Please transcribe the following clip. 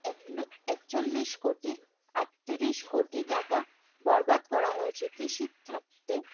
এক একচল্লিশ কোটি আটত্রিশ কোটি টাকা বরাদ্দ করা হয়েছে। কৃষিখাতে